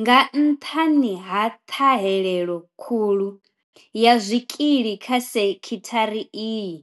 Nga nṱhani ha ṱhahelelo khulu ya zwikili kha sekhithara iyi,